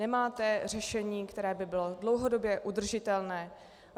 Nemáte řešení, které by bylo dlouhodobě udržitelné.